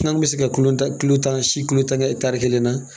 An kun bɛ se ka kilo tan, kilo tan si, kilo tan kɛ kelen na